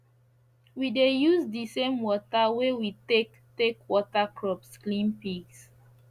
we dey use the same water wey we take take water crops clean pigs